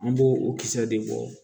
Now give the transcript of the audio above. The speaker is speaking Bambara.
An b'o o kisɛ de bɔ